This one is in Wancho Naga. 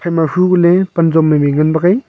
ema huko ley panjom mai meai ngan bak ai.